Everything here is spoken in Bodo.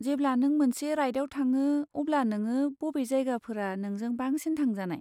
जेब्ला नों मोनसे राइडआव थाङो अब्ला नोङो बबे जायगाफोरा नोंजों बांसिन थांजानाय?